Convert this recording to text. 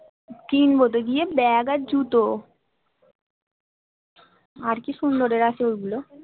কিনবো তো গিয়ে bag আর জুতো আর কি সুন্দরের আছে ওগুলোর